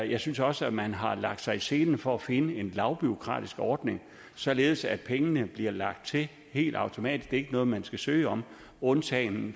jeg synes også at man har lagt sig i selen for at finde en lavbureaukratisk ordning således at pengene bliver lagt til helt automatisk det er ikke noget man skal søge om undtagen